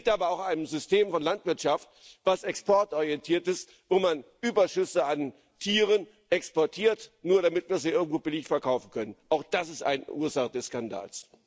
Es liegt aber auch an einem System von Landwirtschaft, das exportorientiert ist, wo man Überschüsse an Tieren exportiert, nur damit wir sie irgendwo billig verkaufen können. Auch das ist eine Ursache des Skandals.